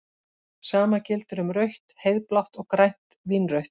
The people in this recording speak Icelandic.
Sama gildir um rautt-heiðblátt og grænt-vínrautt.